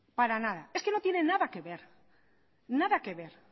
para nada es que no tiene nada que ver nada que ver